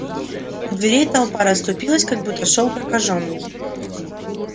у дверей толпа расступилась как будто шёл прокажённый